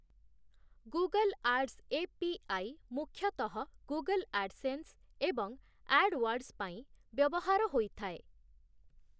Google Ads API. ମୁଖ୍ୟତଃ Google AdSense ଏବଂ AdWords ପାଇଁ ବ୍ୟବହାର ହୋଇଥାଏ ।